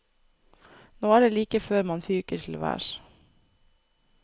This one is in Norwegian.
Nå er det like før man fyker til værs.